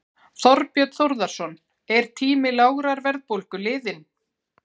Þorbjörn Þórðarson: Er tími lágrar verðbólgu liðinn?